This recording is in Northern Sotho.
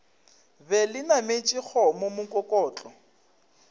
be le nametše kgomo mokokotlo